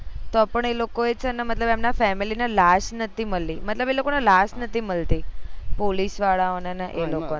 તો પણ એ લોકો એ છે ને મતલબ એમના family ને લાશ નતી મળી મતલબ એ લોકો ને લાશ નતી મળતી police વાળા ઓને ને એ લોકો ને